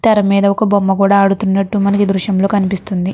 తెర మీద ఒక బొమ్మ కూడా అడుతున్నట్టు మనకి ఈ దృశ్యం లో కనిపిస్తుంది.